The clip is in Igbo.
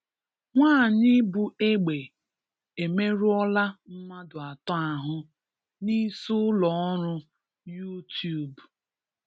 Nwanyị bu egbe emerụọla mmadụ ato ahụ n'isiụlọọrụ Yuutube